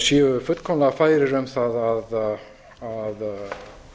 séu fullkomlega færir um það að